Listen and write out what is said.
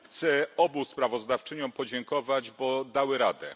Chcę obu sprawozdawczyniom podziękować, bo dały radę.